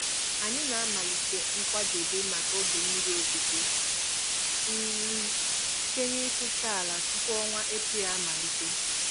Anyị na-amalite nkwadebe maka oge mmiri ozuzo um site n'isucha ala tupu ọnwa Eprel amalite.